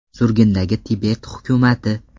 Surgundagi Tibet hukumati.